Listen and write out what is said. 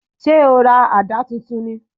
Ṣé o ra àdá tuntun ni?